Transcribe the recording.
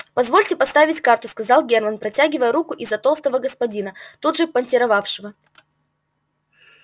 позвольте поставить карту сказал германн протягивая руку из-за толстого господина тут же понтировавшего